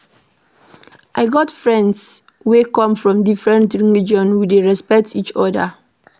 I get friends wey come from different religion, we dey respect each oda.